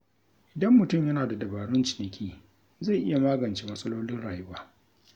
Idan mutum yana da dabarun ciniki, zai iya magance matsalolin rayuwa.